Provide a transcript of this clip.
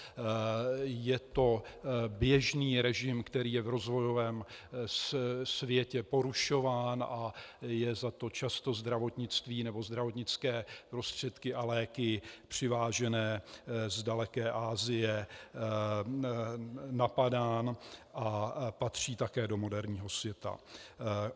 Je to běžný režim, který je v rozvojovém světě porušován a je za to často - zdravotnictví nebo zdravotnické prostředky a léky přivážené z daleké Asie - napadán, a patří také do moderního světa.